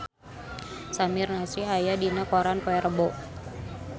Samir Nasri aya dina koran poe Rebo